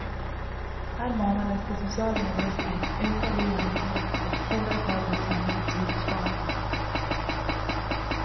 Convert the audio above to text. Här manades till social nedrustning, ökad ojämlikhet och hårdare tag mot samhällets olycksbarn.